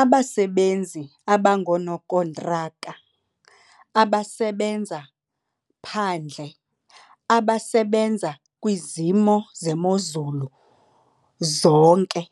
Abasebenzi abangonookontraka abasebenza phandle abasebenza kwizimo zemozulu zonke.